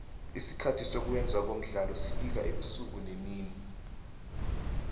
isikhathi sokwenze komdlalo sifaka ubusuku nemini